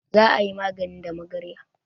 Za a yi magani da magarya.